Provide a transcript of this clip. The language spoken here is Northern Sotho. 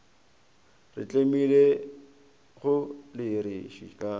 re tlemilego di re šitišago